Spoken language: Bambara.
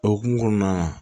O hukumu kɔnɔna na